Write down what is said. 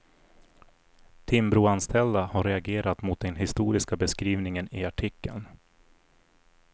Timbroanställda har reagerat mot den historiska beskrivningen i artikeln.